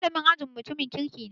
Malamin ajin mu mutumin kirki ne